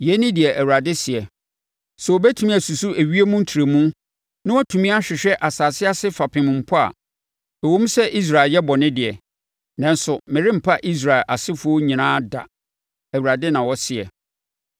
Yei ne deɛ Awurade seɛ: “Sɛ wɔbɛtumi asusu ewiem ntrɛmu na wɔatumi ahwehwɛ asase ase fapem mpo a, ɛwom sɛ Israel ayɛ bɔne deɛ, nanso merempa Israel asefoɔ nyinaa da,” Awurade na ɔseɛ.